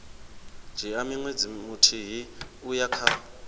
dzhia ṅwedzi muthihi uya kha